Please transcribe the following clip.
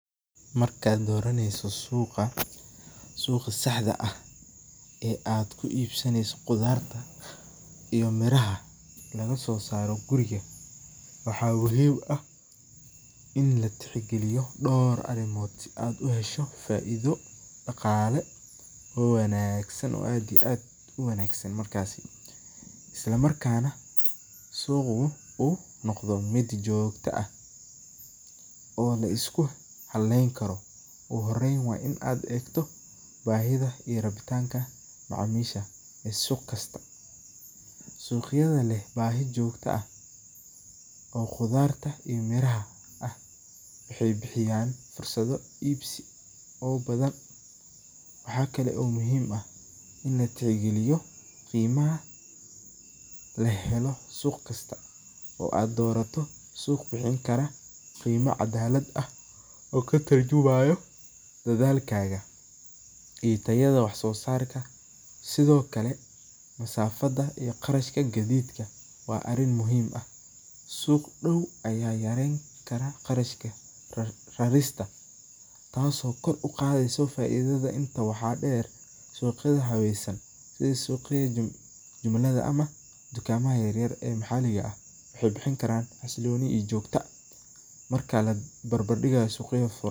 Marka aad doraneysa suq, suqa saxda eh ee aad ku ibsaneyao iyo miraha suqa lagaso ibiye waxee muhiim u tahay in la tix galiyo dor arimood si aad u hesho faidho daqale oo wanagsan markasi isla markasna suqu oo lisku haleyni karo, ogu horen waa in aad beerto baxriminta ew suq kasta, suqyaadani bahi jogto ah, waxee bixiyan fuesaado badan, waxaa kalo muhiim ah in la tixgaliyo waxa kalo lo bahan yahay inaad dorato suq cadalaad ah oo katurjumayo dashalkadha iyo tayaada wax sosarka, sithokale mudhafaada suq dow aya bixin karaa tas oo kor uqadheysa beer tas oo ku imadha cimilaada ama beera yar yar waxee bixin karan si jogto ah.